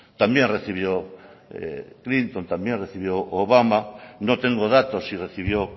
también recibió clinton también recibió obama no tengo datos si recibió